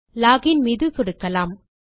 login மீது சொடுக்கலாம்